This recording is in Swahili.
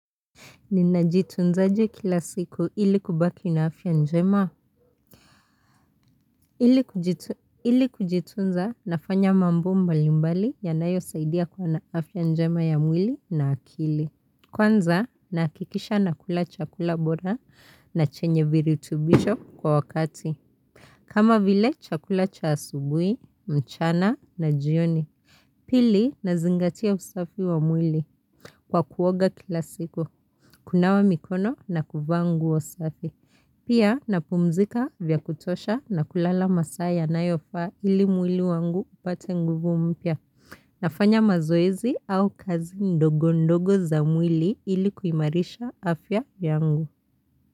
Ninajitunzaje kila siku ili kubaki na afya njema. Ili kujitunza nafanya mambo mbalimbali yanayo saidia kuwa na afya njema ya mwili na akili. Kwanza nakikisha na kula chakula bora na chenye viritubisho kwa wakati. Kama vile chakula cha asubuhi, mchana na jioni. Pili na zingatia usafi wa mwili. Kwa kuoga kila siku, kunawa mikono na kuvaa nguo safi. Pia napumzika vya kutosha na kulala masaa yanayofa ili mwili wangu upate nguvu mpya. Nafanya mazoezi au kazi ndogo ndogo za mwili ili kuimarisha afya yangu.